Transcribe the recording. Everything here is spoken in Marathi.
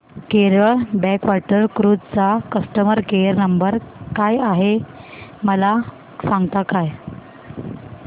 केरळ बॅकवॉटर क्रुझ चा कस्टमर केयर नंबर काय आहे मला सांगता का